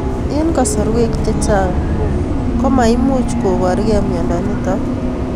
Eng' kasarwek chechang' ko mamuch koporkei miondo notok